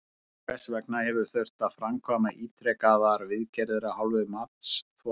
Hvers vegna hefur þurft að framkvæma ítrekaðar viðgerðir af hálfu matsþola?